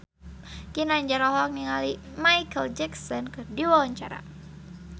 Ginanjar olohok ningali Micheal Jackson keur diwawancara